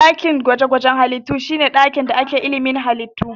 Dakin gwaje-gwajen halittu shi ne ɗakin da ake ilimin halittu, tantancesu da kuma nazarinsu.